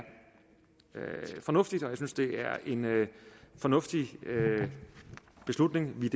fornuftigt og jeg synes det er en fornuftig beslutning vi